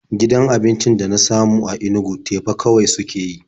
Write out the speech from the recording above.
Gidan abincin da na samu a Inugu teba kawai suke yi.